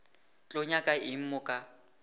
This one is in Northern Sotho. tlo nyaka eng mo ka